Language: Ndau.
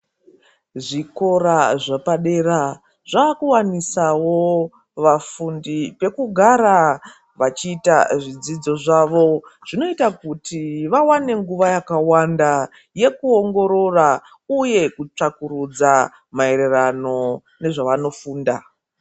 Zvikora zvepadera zvakuwanisawo vafundi pekugara, vachiita zvidzidzo zvavo. Zvinoita kuti vawane nguva yakawanda yekuongorora uye kutsvakurudza maererano nezvavano funda.